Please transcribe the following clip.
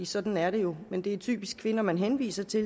sådan er det jo men det er typisk kvinder man henviser til